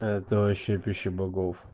это вообще пища богов